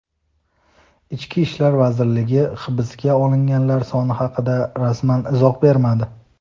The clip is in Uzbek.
Ichki ishlar vazirligi hibsga olinganlar soni haqida rasman izoh bermadi.